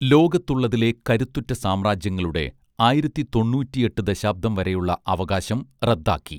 ലോകത്തുള്ളതിലെ കരുത്തുറ്റ സാമ്രാജ്യങ്ങളുടെ ആയിരത്തിതൊണ്ണൂറ്റിയെട്ട് ദശാബ്ദം വരെയുള്ള അവകാശം റദ്ദാക്കി